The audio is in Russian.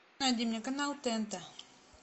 найди мне канал тнт